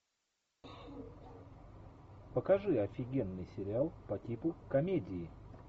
покажи офигенный сериал по типу комедии